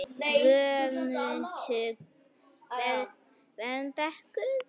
Varmabrekku